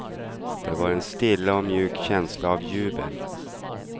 Det var en stilla och mjuk känsla av jubel.